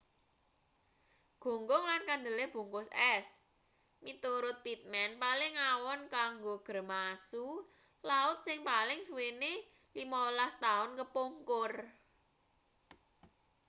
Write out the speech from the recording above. gunggung lan kandele bungkus es miturut pittman paling awon kanggo grema asu laut sing paling suwene 15 taun kepungkur